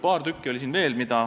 Paar tükki oli neid veel.